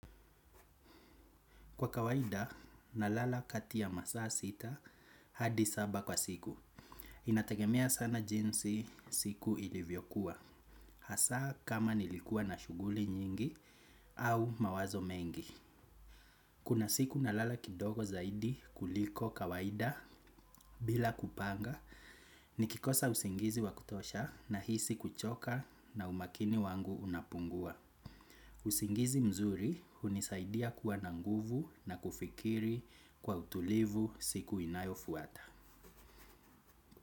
Kwa kawaida, nalala kati ya masaa sita hadi saba kwa siku. Inategemea sana jinsi siku ilivyokuwa. Hasa kama nilikua na shughuli nyingi au mawazo mengi. Kuna siku nalala kidogo zaidi kuliko kawaida. Bila kupanga, nikikosa usingizi wa kutosha na nahisi kuchoka, na umakini wangu unapungua. Usingizi mzuri hunisaidia kuwa na nguvu na kufikiri kwa utulivu siku inayofuata.